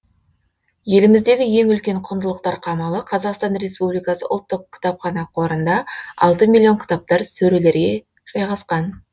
еліміздегі ең үлкен құндылықтар қамалы қазақстан республикасы ұлттық кітапхана қорында алты миллион кітаптар сөрелерге жайғасқан